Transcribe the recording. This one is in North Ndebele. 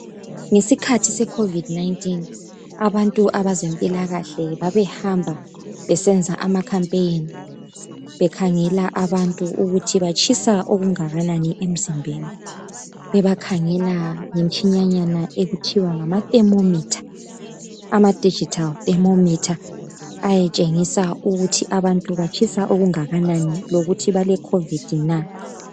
Ngesikhathi seCovid19 abantu abazempilakahle besenza ama campaign bekhangela abantu ukuthi batshisa okungakanani emzimbeni. Bebakhangela ngemitshinanya okuthiwa ngama thermometer ama digital thermometer ayetshengisa ukuthi batshisa okungakanani lokutthi bale Covid na?